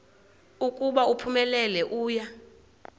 ukuba uphumelele uya